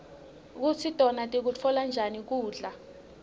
kutsi tona tikutfola njani kubla